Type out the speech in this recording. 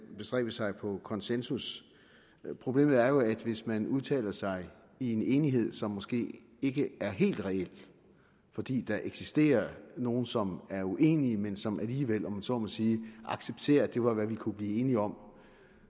bestræbe sig på konsensus problemet er jo at hvis man udtaler sig i en enighed som måske ikke er helt reel fordi der eksisterer nogle som er uenige men som alligevel om jeg så må sige accepterer at det var hvad man kunne blive enige om